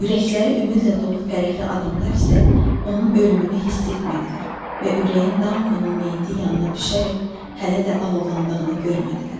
Ürəkləri ümidlə dolu fərəhli adamlar isə onun ölümünü hiss etmədilər və ürəyin Dankonun meyiti yanına düşərək hələ də alovlandığını görmədilər.